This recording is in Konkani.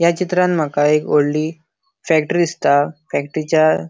या चित्रांन माका एक वोडली फैक्ट्री दिसता फैक्ट्रीच्या --